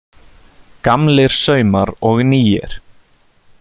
Gamlir saumar og nýir